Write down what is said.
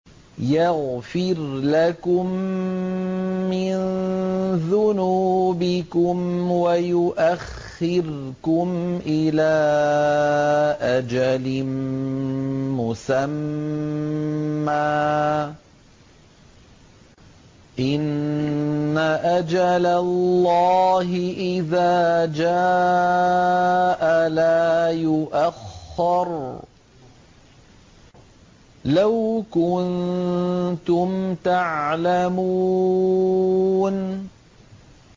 يَغْفِرْ لَكُم مِّن ذُنُوبِكُمْ وَيُؤَخِّرْكُمْ إِلَىٰ أَجَلٍ مُّسَمًّى ۚ إِنَّ أَجَلَ اللَّهِ إِذَا جَاءَ لَا يُؤَخَّرُ ۖ لَوْ كُنتُمْ تَعْلَمُونَ